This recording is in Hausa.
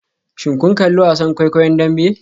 Shin kun kalli wasan kwaikwayon Dambe?